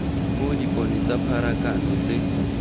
mo dipone tsa pharakano tse